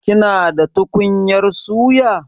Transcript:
Kina da tukunyar suya?